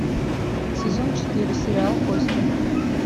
сезон четыре сериал кости